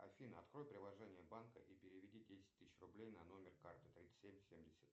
афина открой приложение банка и переведи десять тысяч рублей на номер карты тридцать семь семьдесят